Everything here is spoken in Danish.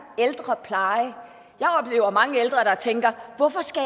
ældrepleje jeg oplever mange ældre der tænker hvorfor skal